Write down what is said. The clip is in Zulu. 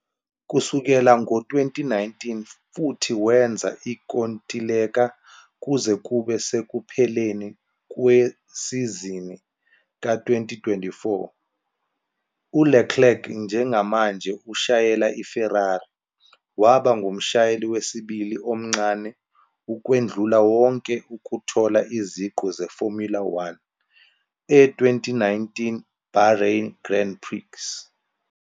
Kusukela ngo-2019 futhi wenza inkontileka kuze kube sekupheleni kwesizini ka-2024, uLeclerc njengamanje ushayela iFerrari. Waba ngumshayeli wesibili omncane ukwedlula wonke ukuthola iziqu zeFormula One e-2019 Bahrain Grand Prix.